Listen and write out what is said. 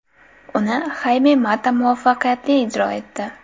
Uni Hayme Mata muvaffaqiyatli ijro etdi.